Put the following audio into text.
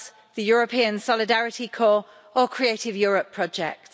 the European Solidarity Corps or Creative Europe projects.